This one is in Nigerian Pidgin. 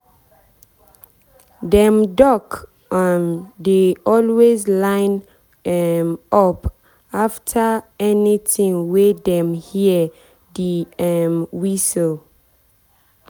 dem duck um dey always line um up anytime wey dem hear the um whistle.